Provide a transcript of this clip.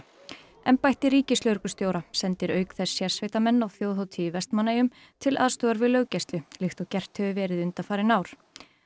embætti ríkislögreglustjóra sendir auk þess sérsveitarmenn á þjóðhátíð í Vestmannaeyjum til aðstoðar við löggæslu líkt og gert hefur verið undanfarin ár